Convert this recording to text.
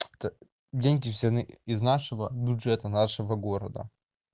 это деньги взяты из нашего бюджета нашего города